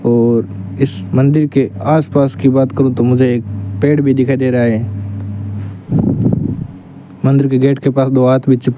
और इस मंदिर के आसपास की बात करु तो मुझे एक पेड़ भी दिखाई दे रहा है मंदिर के गेट के पास दो आदमी चिप --